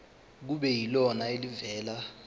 kube yilona elivela